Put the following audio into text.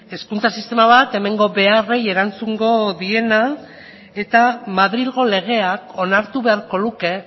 hezkuntza sistema bat hemengo beharrei erantzungo diena eta madrilgo legeak onartu beharko luke